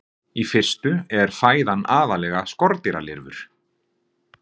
Í fyrstu er fæðan aðallega skordýralirfur.